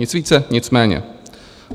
Nic více, nic méně.